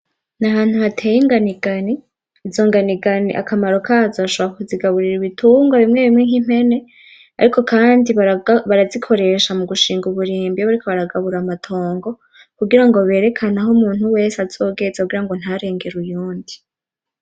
Nahantu hateye inganigani, izo nganigani akamaro kazo nshobora kuzigaburira ibitungwa bimwe bimwe nkimpene ariko Kandi barazikoresha mugushinga uburimbi bariko baragabura amatongo kugira berekane aho umuntu wese azogeza kugirango ntarengere uyundi .